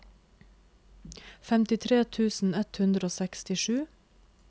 femtitre tusen ett hundre og sekstisju